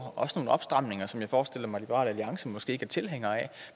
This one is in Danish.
også nogle opstramninger som jeg forestiller mig liberal alliance måske ikke er tilhængere af